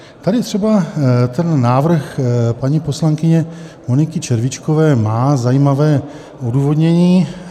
Tady třeba ten návrh paní poslankyně Moniky Červíčkové má zajímavé odůvodnění.